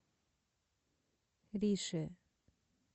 рише